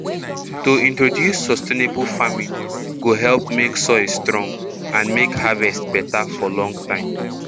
to introduce sustainable farming go help make soil strong and make harvest beta for long time